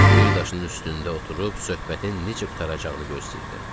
Bir daşın üstündə oturub söhbətin necə qurtaracağını gözləyirdim.